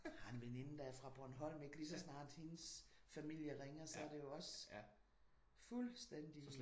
Jeg har en veninde der er fra Bornholm ik lige så snart hendes familie ringer så er det jo også fuldstændigt